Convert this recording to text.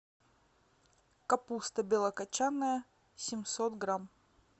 капуста белокочанная семьсот грамм